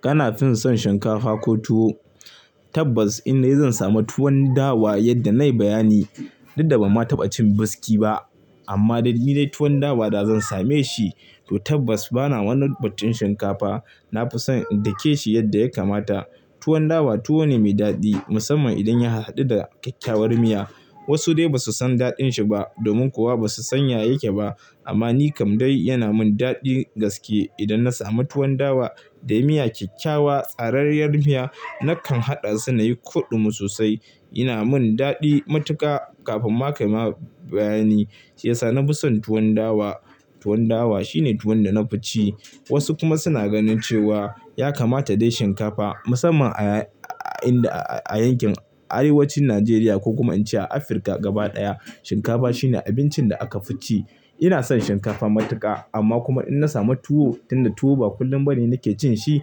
Kana fin son shinkafa ko tuwo? Tabbas in dai zan sama tuwon dawa yadda na yi bayani, duk da ban ma taɓa cin biski ba. Amma dai ni dai tuwon dawa da zan same shi, to tabbas bana wani batun shinkafa. Na fi son in dake shi yadda ya kamata. Tuwon dawa tuwo ne mai daɗi musamman idan ya hadu da kyakkyawar miya. Wasu dai ba su san daɗin shi ba domin kuwa ba su sanya yake ba. Amma ni kam dai yana mun daɗi gaske idan na samu tuwon dawa da miya kyakkyawa, tsarariyar miya nakan haɗa su na yi kuɗum sosai. Yana mun daɗi matuƙa kafin ma ka yi ma bayani. Shi ya sa na fi son tuwon dawa. Tuwon dawa shine tuwon da na fi ci. Wasu kuma suna ganin cewa ya kamata dai shinkafa musamman a yankin arewacin Najeriya ko kum ince a Afirka gaba ɗaya shinkafa shine abincin da aka fi ci. Ina son shinkafa matuka amma kuma inna samu tuwo tunda tuwo ba kullum ba ne nake cinshi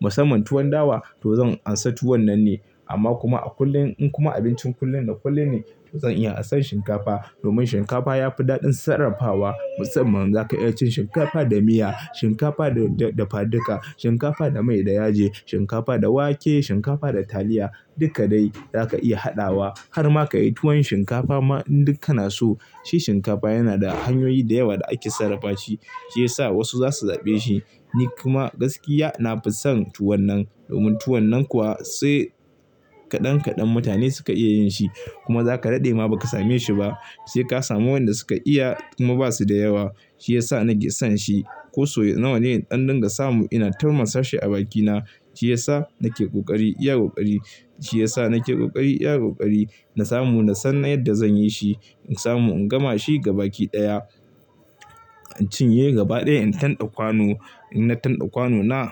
musamman tuwon dawa to zan amsa tuwonnan ne amma kuma a kullun in kuma abincin kullum da kullum ne to zan iya ansan shinkafa domin shinkafa yafi dadin sarrafawa. Musamman zaka iya cin shinkafa da miya, shinkafa da da dafa duka shinkafa da mai da yaji, shinkafa da wake, shinkafa da taliya duka dai zaka iya hadawa harma kayi tuwon shinkafa ma in duk kana so. Shi shinkafa yana da hanyoyi da yawa da ake sarrafa shi. Shi yasa wasu zasu zabe shi. Nikuma gaskiya na fi son tuwannan domin tuwonnan kuwa sai kadan kadan mutane suka iya yin shi, kuma zaka dade ma baka sameshi ba. Sai ka samu waenda suka iya kuma basu da yawa. Shi yasa nake san shi ko so nawa ne in dan dinga samu ina tirmisa shi a baki na. Shiyasa nake kokari iya kokari, shi yasa nake kokari iya kokari na samu nasan na yadda zan yi shi. In samu in gama shi gaba ki daya in cinye gaba daya in tande kwano. Inna tande kwano na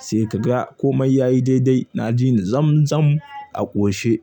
sai ka ga komai yayi daidai na ji ni zam zam a koshe.